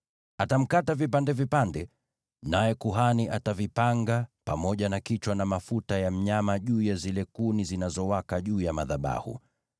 Atamkata vipande vipande, naye kuhani atavipanga, pamoja na kichwa na mafuta ya mnyama juu ya zile kuni zinazowaka juu ya madhabahu.